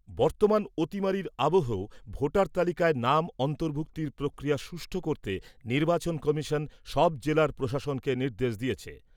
বর্তমান অতিমারীর অবহেও ভোটার তালিকায় নাম অন্তর্ভুক্তির প্রক্রিয়া সুষ্ঠু করতে নির্বাচন কমিশন সব জেলার প্রশাসনকে নির্দেশ দিয়েছে।